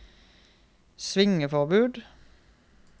svingforbud